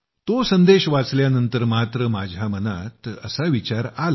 तो संदेश वाचल्यानंतर मात्र माझ्या मनात ते पुस्तक घ्यावं असा विचार आला